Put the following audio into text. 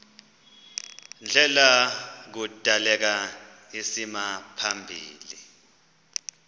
ndlela kudaleka isimaphambili